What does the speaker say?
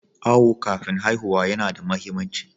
Awo kafin haihuwa yana da muhimmanci.